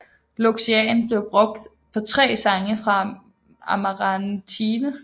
Loxian blev brugt på tre sange fra Amarantine